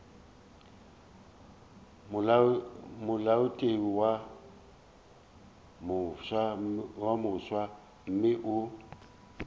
molaotheo wo mofsa mme o